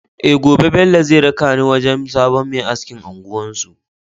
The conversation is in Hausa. Eh Gobe Bello zai raka ni wajan sabon Me askin unguwar su